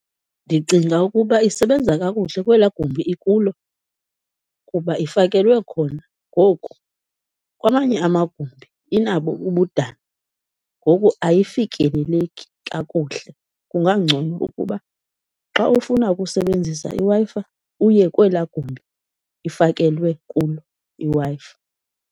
Ndicinga ukuba isebenza kakuhle kwelaa gumbi ikulo kuba ifakelwe khona, ngoku kwamanye amagumbi inabo ubudana ngoku ayifikeleleki kakuhle. Kungangcono ukuba xa ufuna ukusebenzisa iWi-Fi uye kwelaa gumbi ifakelwe kulo iWi-Fi.